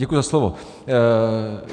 Děkuji za slovo.